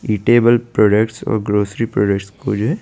Edible product और grocery product को जो है ।